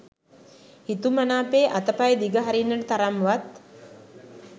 හිතුමනාපේ අතපය දිග හරින්නට තරම් වත්